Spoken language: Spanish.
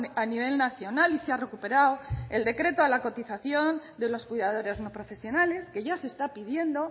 a nivel nacional y se ha recuperado el decreto a la cotización de los cuidadores no profesionales que ya se está pidiendo